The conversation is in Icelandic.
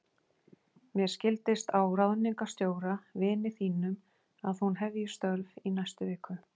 Mér skildist á ráðningarstjóra, vini þínum, að hún hefji störf í næstu viku.